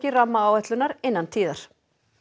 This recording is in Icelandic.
rammaáætlunar innan tíðar